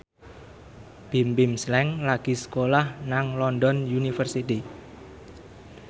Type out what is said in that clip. Bimbim Slank lagi sekolah nang London University